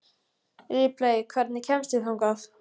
Ripley, hvernig kemst ég þangað?